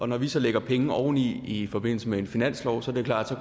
når vi så lægger penge oveni i forbindelse med en finanslov er det klart at